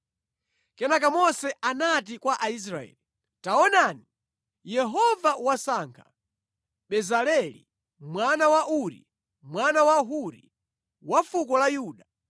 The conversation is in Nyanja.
Kenaka Mose anati kwa Aisraeli, “Taonani, Yehova wasankha Bezaleli mwana wa Uri, mwana wa Huri, wa fuko la Yuda,